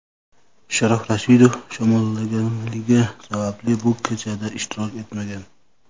Sharof Rashidov shamollaganligi sababli bu kechada ishtirok etmagan.